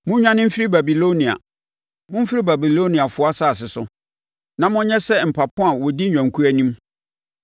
“Monnwane mfiri Babilonia; momfiri Babiloniafoɔ asase so, na monyɛ sɛ mpapo a wɔdi nnwankuo anim.